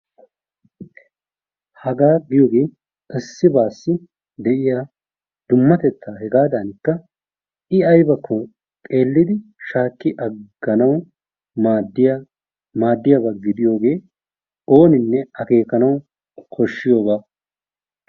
Hagaa giyoogee issibaasi de'iyaa dummatettaa hegaadanika i aybbako xeellidi shaakki agganawu maaddiyaa maaddiyaaba gidiyoogee ooninne akeekanwu kooshiyooba.